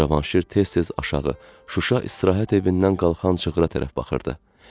Cavanşir tez-tez aşağı Şuşa istirahət evindən qalxan çığıra tərəf baxırdı.